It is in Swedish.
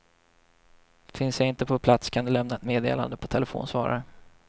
Finns jag inte på plats kan du lämna ett meddelande på telefonsvararen.